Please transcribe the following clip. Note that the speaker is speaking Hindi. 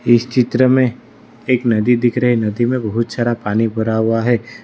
इस चित्र में एक नदी दिख रही नदी में बहोत सारा पानी भरा हुआ है।